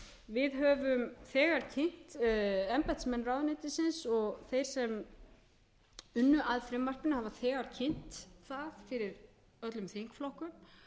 við höfum þegar kynnt embættismenn ráðuneytisins og þeir sem unnu að frumvarpinu hafa þegar kynnt það fyrir öllum þingflokkum